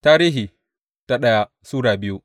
daya Tarihi Sura biyu